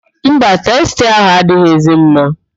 Mba, testa ahụ adịghịzi mma.